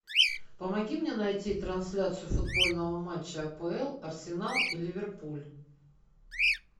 помоги мне найти трансляцию футбольного матча апл арсенал и ливерпуль